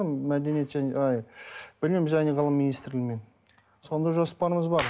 мәдениет және білім және ғылым министрлігімен сондай жоспарларымыз бар